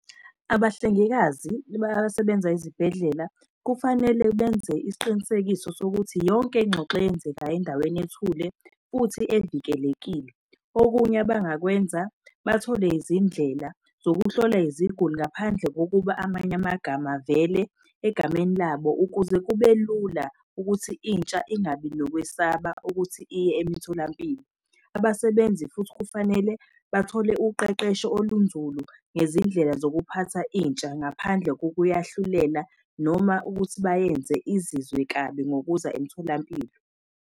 Abahlengikazi basebenza ezibhedlela, kufanele benze isiqinisekiso sokuthi yonke iy'ngxoxo eyenzekayo endaweni ethule futhi evikelekile. Okunye abangakwenza bathole izindlela zokuhlola iziguli ngaphandle kokuba amanye amagama avele egameni labo ukuze kube lula ukuthi intsha ingabi nokwesaba ukuthi iye emitholampilo. Abasebenzi futhi kufanele bathole uqeqesho olunzulu ngezindlela zokuphatha intsha ngaphandle kokuyahlulela noma ukuthi bayenze izizwe kabi ngokuza emtholampilo.